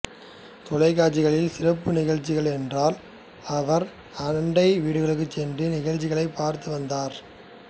தொலைக்காட்சியில் சிறப்பு நிகழ்ச்சிகள் என்றால் அவர் அண்டை வீடுகளுக்குச் சென்று நிகழ்ச்சிகளைப் பார்த்து வந்தார்